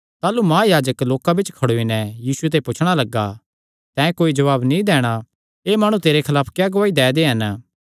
ताह़लू महायाजक लोकां बिच्च खड़ोई नैं यीशु ते पुछणा लग्गा तैं कोई जवाब नीं दैणा एह़ माणु तेरे खलाफ क्या गवाही दै दे हन